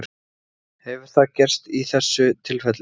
Hefur það gerst í þessu tilfelli?